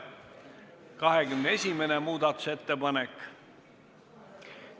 21. muudatusettepanek ...